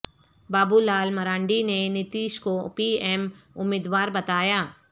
بابو لال مرانڈی نے نتیش کو P M امیدوار بتایا